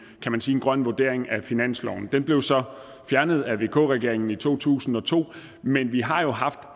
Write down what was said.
grøn vurdering af finansloven den blev så fjernet af vk regeringen i to tusind og to men vi har jo haft